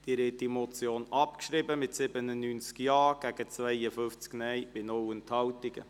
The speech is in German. Sie haben diese Motion abgeschrieben mit 79 Ja- gegen 52 Nein-Stimmen bei 0 Enthaltungen.